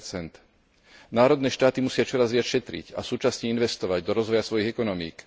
6 Národné štáty musia čoraz viac šetriť a súčasne investovať do rozvoja svojich ekonomík.